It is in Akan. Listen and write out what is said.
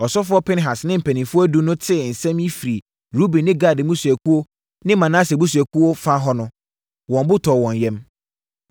Ɔsɔfoɔ Pinehas ne mpanimfoɔ edu no tee nsɛm yi firii Ruben ne Gad mmusuakuo ne Manase abusuakuo fa hɔ no, wɔn bo tɔɔ wɔn yam.